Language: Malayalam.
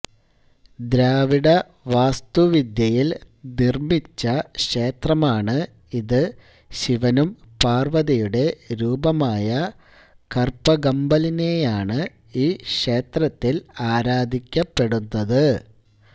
ദ്രാവിഡ വാസ്തുവിദ്യയിൽ നിർമ്മിച്ച ക്ഷേത്രം ആണ് ഇത് ശിവനും പാർവതിയുടെ രൂപമായ കർപഗമ്പലിനെയാണ് ഈ ക്ഷേത്രത്തിൽ ആരാധിക്കപ്പെടുന്നത്